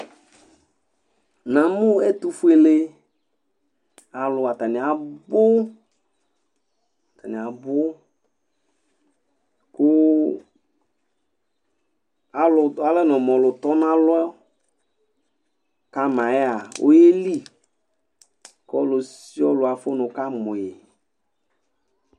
Na mʊ ɛtʊfʊelealʊ atanɩ abʊ kʊ alɛnɔ mʊ ɔlʊ tɔnalɔ kama yɛa oyelɩ kɔlʊsɩɔlʊ afʊ nʊ kamʊ yɩ